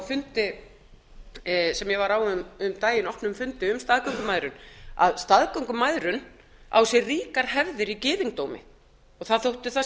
fundi sem ég var áðan á um daginn opnum fundi um staðgöngumæðrun að staðgöngumæðrun á sér ríkar hefðir í gyðingdómi og það þótti þar